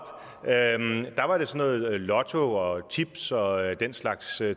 lotto og tips og den slags